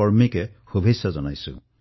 কৰ্মীক অভিনন্দন জনাইছো